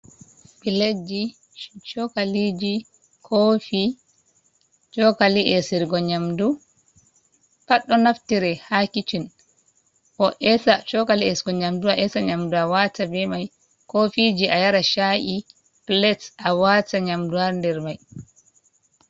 Pilatji cokaliji cofi cokali nyamdu pat do naftira ha kitchin chokali esugo nyamdu, aesa nyamdu a wata be mai kofiji a yara cha’i plate a wata nyamdu hader mai.